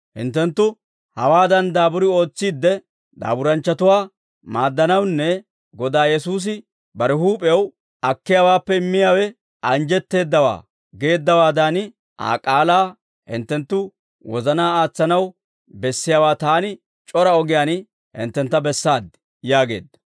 Hinttenttu hawaadan daaburi ootsiidde, daaburanchchatuwaa maaddanawunne Godaa Yesuusi bare huup'ew, ‹Akkiyaawaappe immiyaawe anjjetteeddawaa› geeddawaadan, Aa k'aalaa hinttenttu wozanaa aatsanaw bessiyaawaa taani c'ora ogiyaan hinttentta bessaaddi» yaageedda.